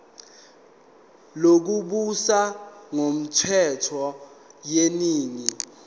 lokubusa ngokwentando yeningi